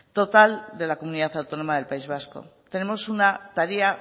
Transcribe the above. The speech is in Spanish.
total de la comunidad autónoma del país vasco tenemos una tarea